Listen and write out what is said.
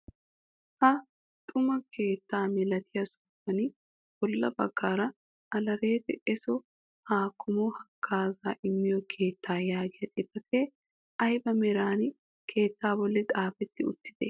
Ha xuma keettaa milatiyaa sohuwaan bolla baggaara "alertte eesso hakkamo haggaazaa immiyoo keettaa" yaagiyaa xifatee ayba meran keettaa bolli xaafetti uttidee?